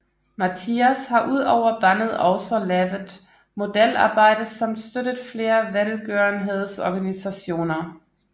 Mattias har udover bandet også lavet modelarbejde samt støttet flere velgørenheds organisationer